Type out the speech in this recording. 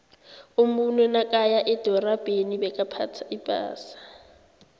umuntu nakaya edorabheni bekaphtha ipasa